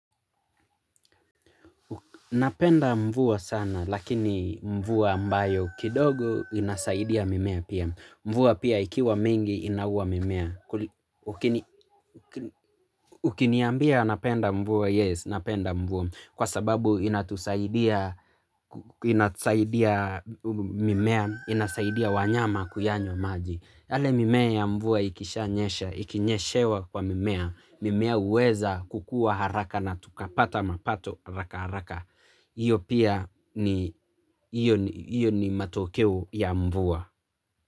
Napenda mvua sana lakini mvua ambayo kidogo inasaidia mimea pia. Mvua pia ikiwa mingi inaua mimea. Ukiniambia napenda mvua yes napenda mvua kwa sababu inatusaidia inasaidia mimea inasaidia wanyama kuyanywa maji. Hale mimea ya mvua ikishanyesha, ikinyeshewa kwa mimea, mimea huweza kukua haraka na tukapata mapato haraka haraka, iyo pia ni matokeo ya mvua.